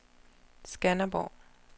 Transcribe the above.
Skanderborg